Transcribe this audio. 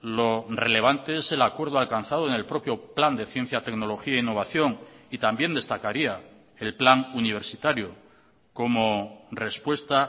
lo relevante es el acuerdo alcanzado en el propio plan de ciencia tecnología e innovación y también destacaría el plan universitario como respuesta